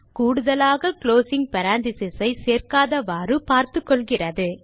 கூடுதலாக closing parenthesis சேர்க்காதவாறு பார்த்துக்கொள்கிறது